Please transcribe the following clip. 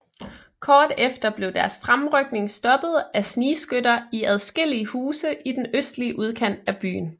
Kort efter blev deres fremrykning stoppet af snigskytter i adskillige huse i den østlige udkant af byen